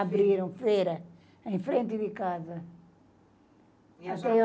Abriram feira em frente de casa. E a